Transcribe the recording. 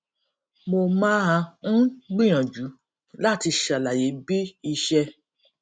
mo máa ń gbìyànjú láti ṣàlàyé bí iṣẹ